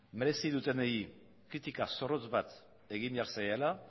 merezi dutenei kritika zorrotz bat egin behar zaiela